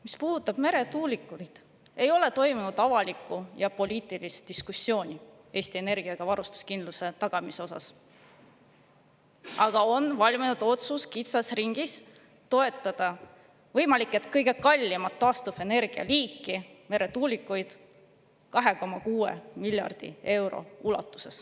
Mis puudutab meretuulikuid, siis ei ole toimunud avalikku ja poliitilist diskussiooni Eesti energiavarustuskindluse tagamise üle, aga kitsas ringis on valminud otsus toetada võimalik et kõige kallimat taastuvenergia liiki, meretuulikuid, 2,6 miljardi euroga.